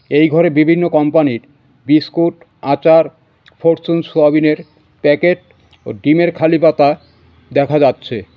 এই ঘরে বিভিন্ন কোম্পানির বিস্কুট আচার ফরচুন সোয়াবিনের প্যাকেট ও ডিমের খালি পাতা দেখা যাচ্ছে.